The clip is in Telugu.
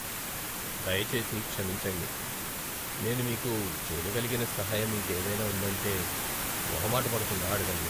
దయచేసి క్షమించండి! నేను మీకు చేయగలిగిన సహాయం ఇంకేదైనా ఉందంటే, మొహమాటపడకుండా అడగండి.